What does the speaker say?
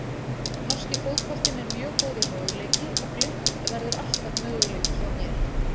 Norski fótboltinn er mjög góður möguleiki og Glimt verður alltaf möguleiki hjá mér.